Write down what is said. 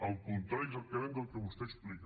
el contrari exactament del que vostè explica